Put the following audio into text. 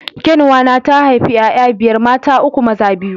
Kyanwa na ta haifi 'ya'ya biyar; mata uku, maza biyu.